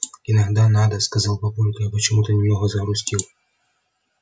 иногда надо сказал папулька и почему-то немного загрустил